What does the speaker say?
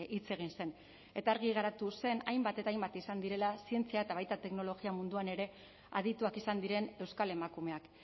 hitz egin zen eta argi geratu zen hainbat eta hainbat izan direla zientzia eta baita teknologia munduan ere adituak izan diren euskal emakumeak